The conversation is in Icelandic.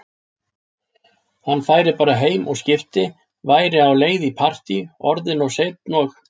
Hann færi bara heim og skipti, væri á leið í partí, orðinn of seinn, og